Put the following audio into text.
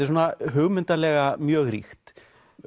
svona hugmyndalega mjög ríkt